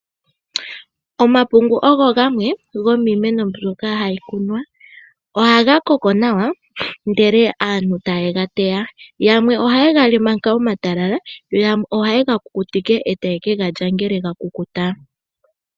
Omapungu ogo gamwe gomiimeno mbyoka hayi kunwa. Ohaga koko nawa ndele aantu taye ga teya, yamwe ohaye ga li manga omatalala, yo yamwe ohaye ga ku kutike etaye ku galya ngele ga ku kuta.